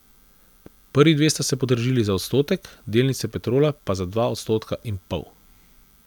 Prvi dve sta se podražili za odstotek, delnice Petrola pa za dva odstotka in pol.